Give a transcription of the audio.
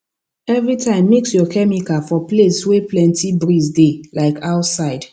every time mix your chemical for place wey plenty breeze dey like outside